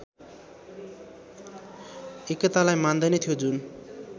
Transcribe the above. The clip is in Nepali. एकतालाई मान्दैन्थ्यो जुन